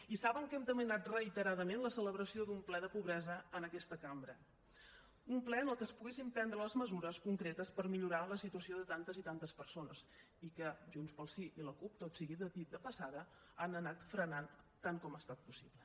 i saben que hem demanat reiteradament la celebració d’un ple de pobresa en aquesta cambra un ple en què es poguessin prendre les mesures concretes per millorar la situació de tantes i tantes persones i que junts pel sí i la cup tot sigui dit de passada han anat frenant tant com ha estat possible